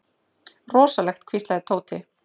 Rosalegt hvíslaði Tóti.